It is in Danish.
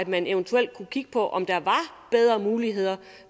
man eventuelt kigge på om der var bedre muligheder